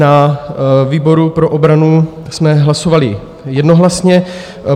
Na výboru pro obranu jsme hlasovali jednohlasně.